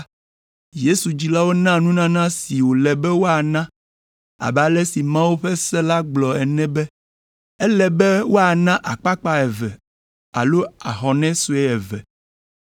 Yesu dzilawo na nunana si wòle be woana abe ale si Mawu ƒe se la gblɔ ene be, ele be woana akpakpa eve alo ahɔnɛ sue eve.